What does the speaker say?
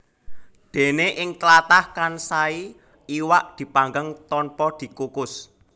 Dene ing tlatah Kansai iwak dipanggang tanpa dikukus